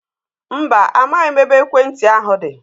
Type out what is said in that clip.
Mba, amaghị m ebe ekwentị ahu dị